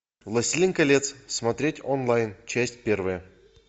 властелин колец смотреть онлайн часть первая